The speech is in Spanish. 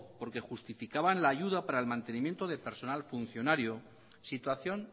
porque justificaban la ayuda para el mantenimiento de personal funcionario situación